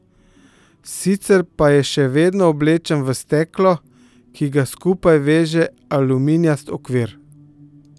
Sicer pa je še vedno oblečen v steklo, ki ga skupaj veže aluminijast okvir.